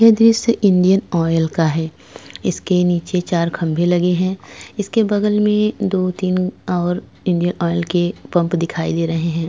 यह दृश्य Indian Oil का है इसके नीचे चार खंभे लगे हैं इसके बगल में दो-तीन और इंडियन ऑयल के पंप दिखाई दे रहे हैं।